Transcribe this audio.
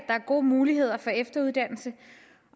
er gode muligheder for efteruddannelse